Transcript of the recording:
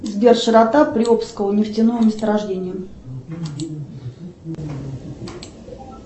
сбер широта приобского нефтяного месторождения